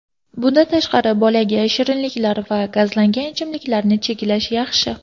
Bundan tashqari, bolaga shirinliklar va gazlangan ichimliklarni cheklash yaxshi.